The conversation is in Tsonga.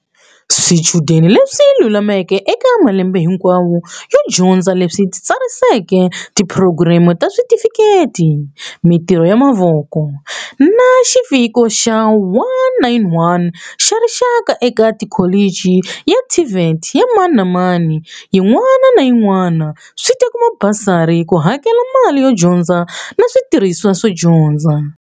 Swichudeni leswi lulameleke eka malembe hinkwawo yo dyondza leswi titsariseleke tiphurogireme ta switifikheti, mitirho ya mavoko, na Xiviko xa 191 xa rixaka eka kholichi ya TVET ya mani na mani yin'wana na yin'wana swi ta kuma basari ku hakela mali yo dyondza na switirhisiwa swa dyondza.